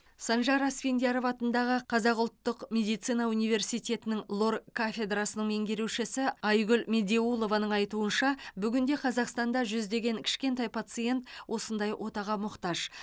санжар асфендияров атындағы қазақ ұлттық медицина университеті лор кафедрасының меңгерушісі айгүл медеулованың айтуынша бүгінде қазақстанда жүздеген кішкентай пациент осындай отаға мұқтаж